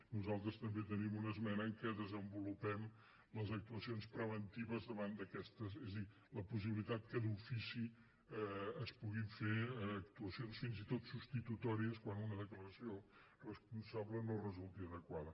nosaltres també tenim una esmena en què desenvolupem les actuacions preventives davant d’aquestes és a dir la possibilitat que d’ofici es puguin fer actuacions fins i tot substitutòries quan una declaració responsable no resulti adequada